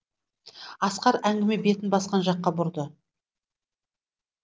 асқар әңгіме бетін басқа жаққа бұрды